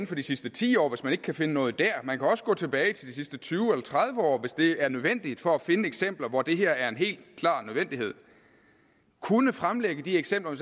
for de sidste ti år hvis man ikke kan finde noget der man kan også gå tilbage i de sidste tyve eller tredive år hvis det er nødvendigt for at finde eksempler hvor det her er en helt klar nødvendighed kunne fremlægge de eksempler